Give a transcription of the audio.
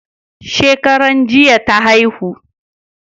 Shekaran jiya ta haihu